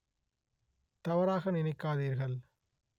தவறாக நினைக்காதீர்கள்